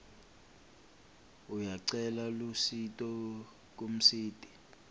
uyacela lusito kumsiti